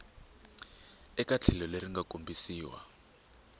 eka tlhelo leri nga kombisiwa